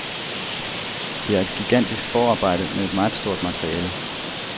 Der er et gigantisk forarbejde med et meget stort materiale.